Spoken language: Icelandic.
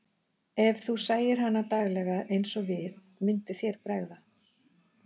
Ef þú sæir hana daglega eins og við, myndi þér bregða.